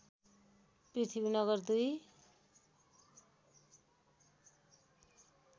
Prithvinagar २